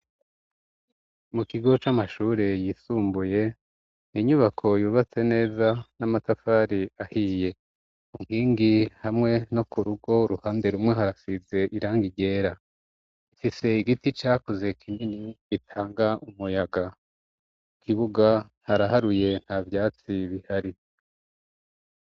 Mu kigo c'amashure yisumbuye inyubako yubatse neza n'amatafari ahiye, inkingi hamwe no ku rugo uruhande rumwe harasize irangi ryera, ifise igiti cakuze kinini gitanga umuyaga, mu kibuga haraharuye nta vyatsi bihari.